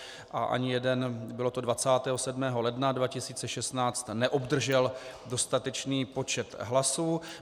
A ani jeden, bylo to 27. ledna 2016, neobdržel dostatečný počet hlasů.